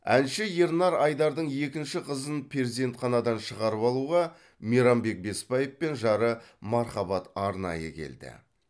әнші ернар айдардың екінші қызын перзентханадан шығарып алуға мейрамбек беспаев пен жары мархабат арнайы келді